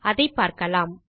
அதை பார்க்கலாம்